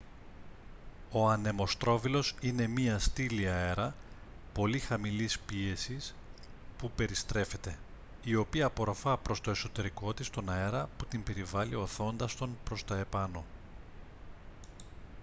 ο ανεμοστρόβιλος είναι μια στήλη αέρα πολύ χαμηλής πίεσης που περιστρέφεται η οποία απορροφά προς το εσωτερικό της τον αέρα που την περιβάλλει ωθώντας τον προς τα επάνω